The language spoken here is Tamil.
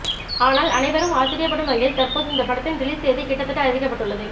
ஆனால் அனைவரும் ஆச்சரியப்படும் வகையில் தற்போது இந்த படத்தின் ரிலீஸ் தேதி கிட்டத்தட்ட அறிவிக்கப்பட்டுள்ளது